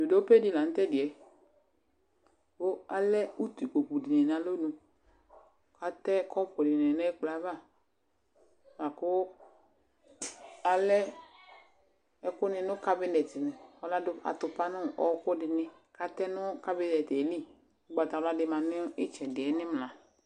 Dzodope di la nu tɛdi yɛ Ku alɛ utukpokpu dini nu alɔnu Atɛ kɔpu dini nu ɛkplɔ yɛ ava Aku alɛ ɛkuni nu kabinɛt ɔmadu atukpa nu ɔwɔkudini katɛ nu kabinet yɛ li Ugbatawla di ma nu itsɛdi yɛ nu imla